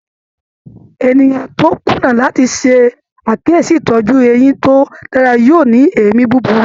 Ènìyàn tó kùnà láti ṣe àkíyèsí itọju eyín tó dára yóò ní èémí búburú.